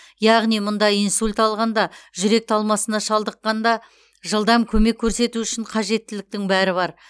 яғни мұнда инсульт алғанда жүрек талмасына шалдыққанда жылдам көмек көрсету үшін қажеттіліктердің бәрі бар